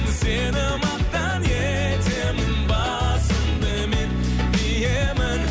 сені мақтан етемін басымды мен иемін